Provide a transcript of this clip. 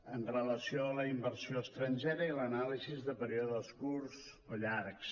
amb relació a la inversió estrangera i l’anàlisi de períodes curts o llargs